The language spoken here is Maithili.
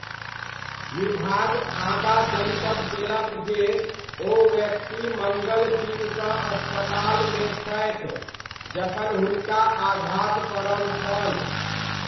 विभाग आगाँ जनतब देलक जे ओ व्यक्ति मङ्गल दिनसँ अस्पतालमे छथि जखन हुनका आघात पड़ल छल।